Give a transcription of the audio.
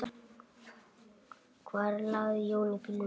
Hvar lagði Jón bílnum?